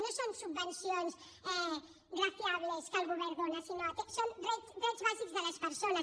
no són subvencions graciables que el govern dóna sinó que són drets bàsics de les persones